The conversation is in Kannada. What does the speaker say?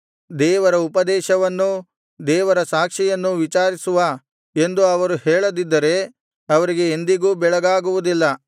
ದೇವರ ಉಪದೇಶವನ್ನೂ ದೇವರ ಸಾಕ್ಷಿಯನ್ನೂ ವಿಚಾರಿಸುವ ಎಂದು ಅವರು ಹೇಳದಿದ್ದರೆ ಅವರಿಗೆ ಎಂದಿಗೂ ಬೆಳಗಾಗುವುದಿಲ್ಲ